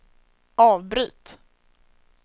avbryt